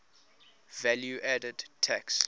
value added tax